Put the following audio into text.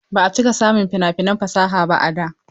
Ba a cika samun fina-finan fasaha ba a da.